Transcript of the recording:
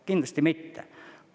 Kindlasti mitte!